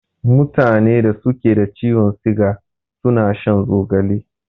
Mutanen da suke da ciwon siga suna shan zogale.